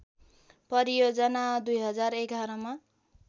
परियोजना २०११ मा